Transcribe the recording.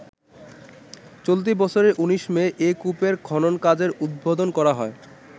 চলতি বছরে ১৯ মে এ কুপের খনন কাজের উদ্বোধন করা হয়।